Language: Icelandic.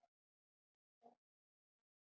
Sko, finndu mig.